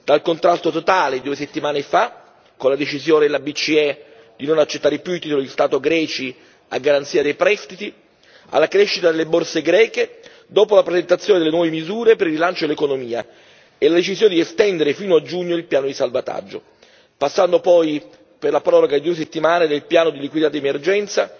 Dal contrasto totale, due settimane fa, con la decisione della BCE di non accettare più i titoli di Stato greci a garanzia dei prestiti, alla crescita delle borse greche, dopo la presentazione delle nuove misure per il rilancio dell'economia e la decisione di estendere fino a giugno il piano di salvataggio, passando poi per la proroga di due settimane del piano di liquidità di emergenza